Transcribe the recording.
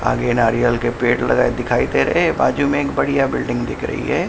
आगे नारियल के पेड़ लगाए दिखाई दे रहे हैं बाजू में एक बढ़िया बिल्डिंग दिख रही है।